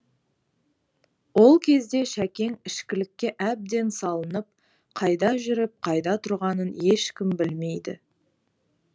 ол кезде шәкең ішкілікке әбден салынып қайда жүріп қайда тұрғанын ешкім білмейді